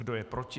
Kdo je proti?